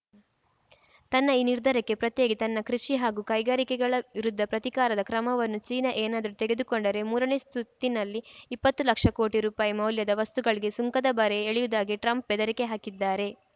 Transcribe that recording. ತನ್ನ ಈ ನಿರ್ಧಾರಕ್ಕೆ ಪ್ರತಿಯಾಗಿ ತನ್ನ ಕೃಷಿ ಹಾಗೂ ಕೈಗಾರಿಕೆಗಳ ವಿರುದ್ಧ ಪ್ರತೀಕಾರದ ಕ್ರಮವನ್ನು ಚೀನಾ ಏನಾದರೂ ತೆಗೆದುಕೊಂಡರೆ ಮೂರನೇ ಸುತ್ತಿನಲ್ಲಿ ಇಪ್ಪತ್ತು ಲಕ್ಷ ಕೋಟಿ ರುಪಾಯಿ ಮೌಲ್ಯದ ವಸ್ತುಗಳಿಗೆ ಸುಂಕದ ಬರೆ ಎಳೆಯುವುದಾಗಿ ಟ್ರಂಪ್‌ ಬೆದರಿಕೆ ಹಾಕಿದ್ದಾರೆ